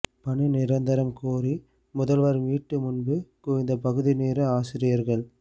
பணி நிரந்தரம் கோரி முதல்வர் வீட்டு முன்பு குவிந்த பகுதி நேர ஆசிரியர்கள்